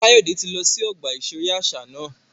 Kayode ti lọ si ọgba iṣere aṣa náà